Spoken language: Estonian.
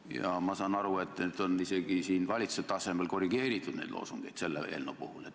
Ja ma saan aru, et selle eelnõu puhul on isegi valitsuse tasemel korrigeeritud seda loosungit.